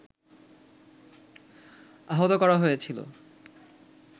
আহত করা হয়েছিল